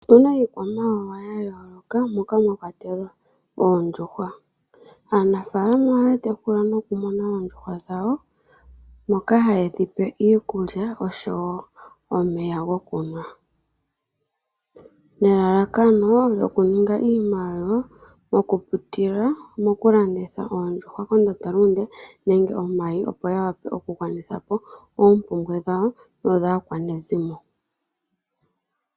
Otuna iikwamawawa yayooloka moka mwakwatelwa oondjuhwa. Aanafaalama ohaya tekula nokumuna oondjuhwa dhawo moka haye dhipe iikulya osho wo omeya gokunwa. Nelalakano okuninga iimaliwa okupitila mokulanditha oondjuhwa kondanda lunde nenge omayi opo yawape okugwanithapo oompumbwe dhawo nodhaakwanezimo.